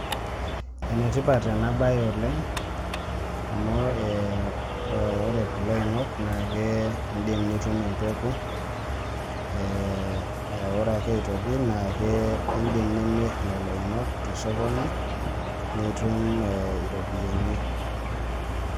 Enetipat enabae oleng, amu ore kulo oing'ok nake idim nitum empeku, ore ake aitoki idim nimir lelo oing'ok tosokoni, nitum eh iropiyiani.